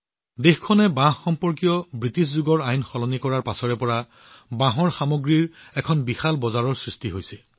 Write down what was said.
দেশখনে বাঁহৰ সৈতে সম্পৰ্কিত ব্ৰিটিছ যুগৰ আইন পৰিৱৰ্তন কৰাৰ পিছৰে পৰা ইয়াৰ বাবে এক বিশাল বজাৰ বিকশিত হৈছে